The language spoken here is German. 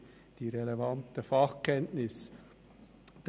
Es gibt keine weiteren Fraktionssprecher.